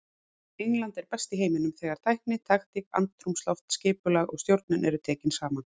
England er best í heiminum þegar tækni, taktík, andrúmsloft, skipulag og stjórnun eru tekin saman.